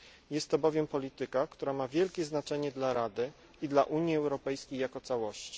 Jest to bowiem polityka, która ma wielkie znaczenie dla Rady i dla Unii Europejskiej jako całości.